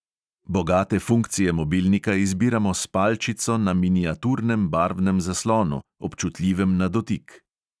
Bogate funkcije mobilnika izbiramo s palčico na miniaturnem barvnem zaslonu, občutljivem na dotik.